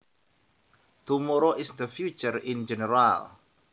Tomorrow is the future in general